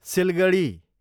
Siliguri